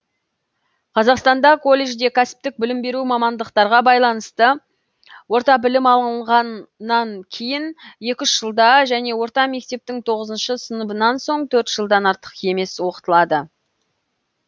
қазақстанда колледжде кәсіптік білім беру мамандықтарға байланысты орта білім алынғаннан кейін екі үш жылда және орта мектептің тоғыз сыныбынан соң төрт жылдан артық емес оқытылады